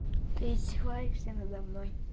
ты издеваешься надо мной